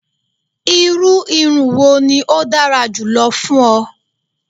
Iru irun wo ni o dara julọ fun ọ?